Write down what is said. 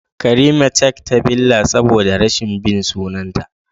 karimat cak ta billa saboda rashin bin sunanta